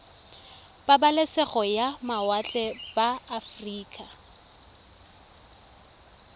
pabalesego ya mawatle ba aforika